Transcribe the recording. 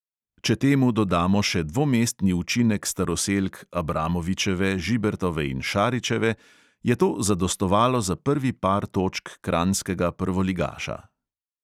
Če temu dodamo še dvomestni učinek staroselk abramovičeve, žibertove in šaričeve, je to zadostovalo za prvi par točk kranjskega prvoligaša.